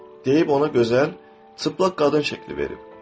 Deyib ona gözəl, çılpaq qadın şəkli verib.